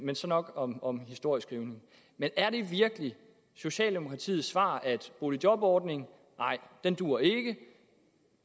nok om om historieskrivning er det virkelig socialdemokratiets svar at boligjobordningen ikke duer